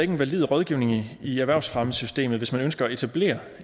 en valid rådgivning i erhvervsfremmesystemet hvis man ønsker at etablere